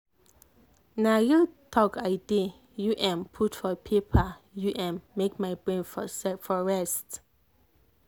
na real talk i dey u m put for paper u m make my brain for rest.